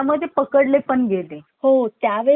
सन्मानपूर्वक दफन केले